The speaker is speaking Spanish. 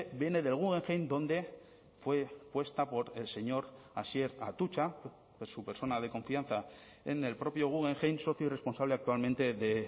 viene del guggenheim donde fue puesta por el señor asier atutxa su persona de confianza en el propio guggenheim socio y responsable actualmente de